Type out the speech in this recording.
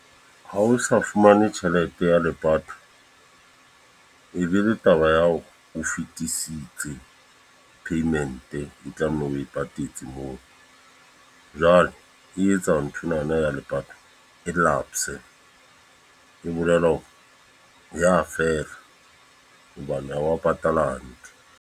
Ha o sa fumane tjhelete ya lepato. E be le taba ya hore, o fetisitse payment e tlamehile o patetse moo. Jwale e etsa ntho enana ya lepato, e lapse. E bolela hore ya fela, hobane ha wa patala hantle.